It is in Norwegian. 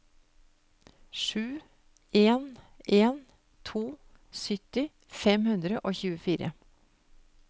sju en en to sytti fem hundre og tjuefire